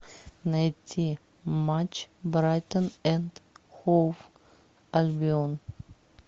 найти матч брайтон энд хоув альбион